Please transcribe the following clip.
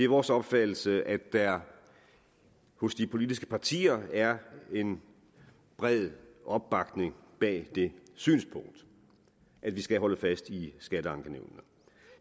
vores opfattelse at der hos de politiske partier er en bred opbakning bag det synspunkt at vi skal holde fast i skatteankenævnene